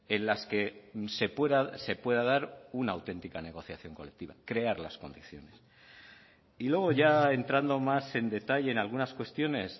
en las que se pueda dar una auténtica negociación colectiva crear las condiciones y luego ya entrando más en detalle en algunas cuestiones